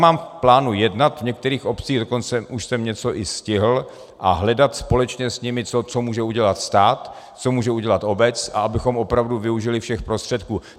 Mám v plánu jednat v některých obcích, dokonce už jsem něco i stihl, a hledat společně s nimi, co může udělat stát, co může udělat obec, abychom opravdu využili všech prostředků.